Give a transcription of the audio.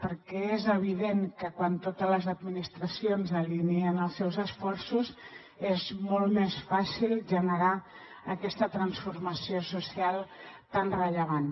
perquè és evident que quan totes les administracions alineen els seus esforços és molt més fàcil generar aquesta transformació social tan rellevant